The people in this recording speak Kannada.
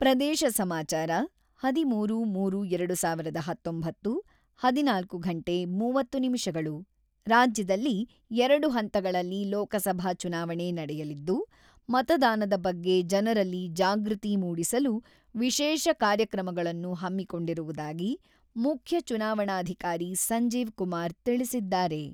ಪ್ರದೇಶ ಸಮಾಚಾರ ಹದಿಮೂರು. ಮೂರು. ಎರಡುಸಾವಿರದ ಹತೊಂಬತ್ತು ಹದಿನಾಲ್ಕು ಗಂಟೆ ಮೂವತ್ತು ನಿಮಿಷಗಳು ರಾಜ್ಯದಲ್ಲಿ ಎರಡು ಹಂತಗಳಲ್ಲಿ ಲೋಕಸಭಾ ಚುನಾವಣೆ ನಡೆಯಲಿದ್ದು, ಮತದಾನದ ಬಗ್ಗೆ ಜನರಲ್ಲಿ ಜಾಗೃತಿ ಮೂಡಿಸಲು ವಿಶೇಷ ಕಾರ್ಯಕ್ರಮಗಳನ್ನು ಹಮ್ಮಿಕೊಂಡಿರುವುದಾಗಿ ಮುಖ್ಯ ಚುನಾವಣಾಧಿಕಾರಿ ಸಂಜೀವ್ ಕುಮಾರ್ ತಿಳಿಸಿದ್ದಾರೆ.